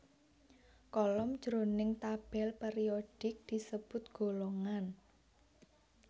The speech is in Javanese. Kolom jroning tabèl périodik disebut golongan